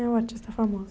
É um artista famoso.